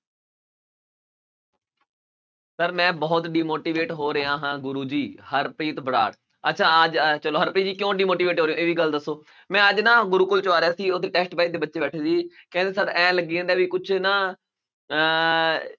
Sir ਮੈਂ ਬਹੁਤ demotivate ਹੋ ਰਿਹਾ ਹਾਂ ਗੁਰੂ ਜੀ ਹਰਪ੍ਰੀਤ ਅੱਛਾ ਚਲੋ ਹਰਪ੍ਰੀਤ ਜੀ ਕਿਉਂ demotivate ਹੋ ਰਹੇ ਹੋ ਇਹ ਵੀ ਗੱਲ ਦੱਸੋ, ਮੈਂ ਅੱਜ ਨਾ ਗੁਰੂਕੁਲ ਚੋਂ ਆ ਰਿਹਾ ਸੀ ਦੇ ਬੱਚੇ ਬੈਠੇ ਸੀ, ਕਹਿੰਦੇ sir ਇਉਂ ਲੱਗੀ ਜਾਂਦਾ ਵੀ ਕੁਛ ਨਾ ਅਹ